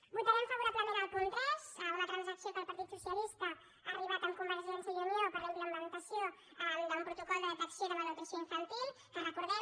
votarem favorablement el punt tres una transacció a què el partit socialista ha arribat amb convergència i unió per a la implementació d’un protocol de detecció de malnutrició infantil que recordem